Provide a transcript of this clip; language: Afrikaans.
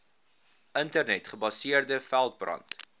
internet gebaseerde veldbrand